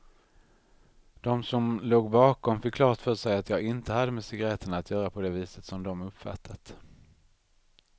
De som låg bakom fick klart för sig att jag inte hade med cigaretterna att göra på det viset som de uppfattat.